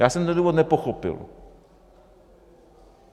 Já jsem ten důvod nepochopil.